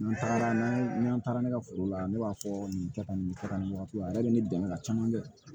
N'an tagara n'an ye n'an taara ne ka foro la ne b'a fɔ nin kɛ tan nin kɛ ka nin wagati la ne yɛrɛ be ne dɛmɛ ka caman kɛ